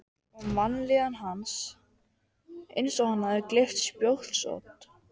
Og vanlíðan hans eins og hann hefði gleypt spjótsodd.